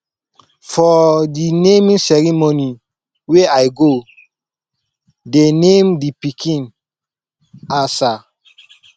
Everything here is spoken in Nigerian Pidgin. for the naming ceremony wey i go dey name the pikin asa